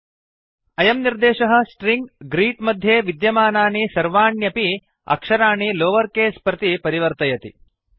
अयं निर्देशः string greet greet मध्ये विद्यमानानि सर्वाण्यपि अक्षराणि लोवर् केस् प्रति परिवर्तयति